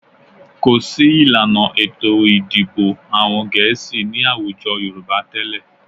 Kò sí ìlànà ètò ìdìbò àwọn Gẹ̀ẹ́sì ní àwùjọ Yorùbá tẹ́lẹ̀